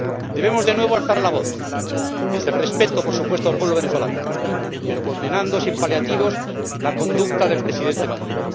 Debemos de nuevo alzar la voz, desde el respeto, por supuesto, al pueblo venezolano, pero condenando sin paliativos la conducta del Presidente Maduro.